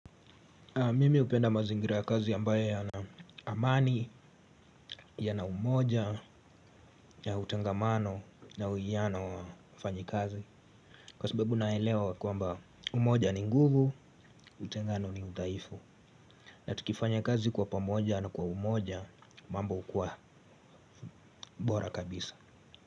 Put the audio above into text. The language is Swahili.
Mimi hupenda mazingirakazi ambaye yana amani, yana umoja, ya utengamano, na uwiano wa wafanyikazi. Kwa sababu naelewa kwamba umoja ni nguvu, utengano ni udhaifu. Na tukifanya kazi kwa pamoja na kwa umoja mambo hukuwa bora kabisa.